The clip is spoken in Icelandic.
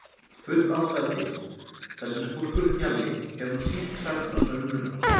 Full ástæða til, þar sem skúrkurinn Hjalli hefur nú sýnt klærnar svo um munar.